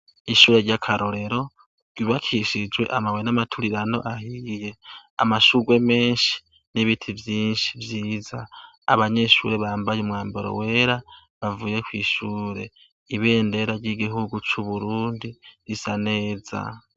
Ishure rya karorero ryubakishije amabuye yamaturirano, amashurwe meNshi nibiti vyinshi vyiza, abanyeshure bambaye umwambaro wera bavuye kwishure ,ibendera rya igihugu Burundi risa neza.